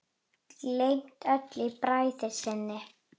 Gleymt öllu í bræði sinni.